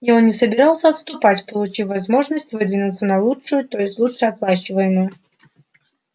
и он не собирался отступать получив возможность выдвинуться на лучшую то есть лучше оплачиваемую